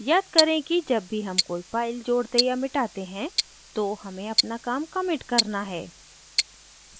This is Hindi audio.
याद करें कि जब भी हम कोई file जोड़ते या मिटाते हैं तो हमें अपना काम commit करना है